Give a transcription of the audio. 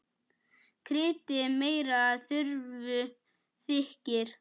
Kryddið meira ef þurfa þykir.